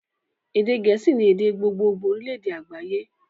Èdè gẹ̀ẹ́sì ni èdè gbogbogbo orílédé àgbáyé